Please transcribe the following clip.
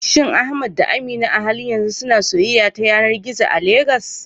Shin Ahmad da Amina a halin yanzu suna soyayya ta yanar gizo a Legas?